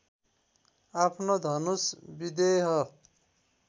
आफ्नो धनुष विदेह